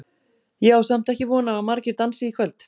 Ég á samt ekki von á að margir dansi í kvöld.